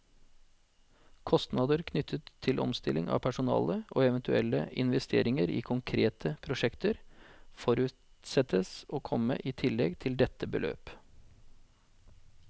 Kostnader knyttet til omstilling av personale, og eventuelle investeringer i konkrete prosjekter, forutsettes å komme i tillegg til dette beløp.